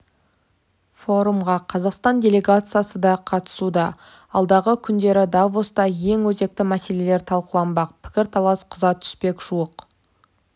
форумға қазақстан делегациясы да қатысуда алдағы күндері давоста ең өзекті мәселелер талқыланбақ пікір-талас қыза түспек жуық